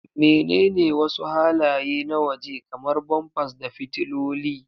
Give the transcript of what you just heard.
Menene wasu halaye na waje, kamar bumpers da fitiloli?